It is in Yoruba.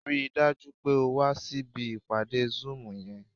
Rí i dájú pé o wá síbi ìpàdé zoom yẹn!